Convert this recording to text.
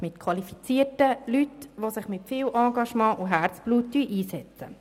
Diese Arbeit wird von qualifizierten Personen geleistet, die sich mit viel Herzblut einsetzen.